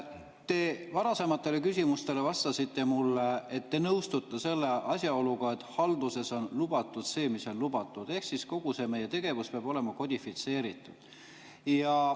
Te minu varasematele küsimustele vastasite, et te nõustute selle asjaoluga, et halduses on lubatud see, mis on lubatud, ehk kogu see meie tegevus peab olema kodifitseeritud.